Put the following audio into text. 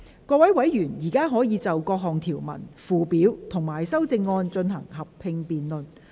各位委員現在可以就各項條文、附表及修正案，進行合併辯論。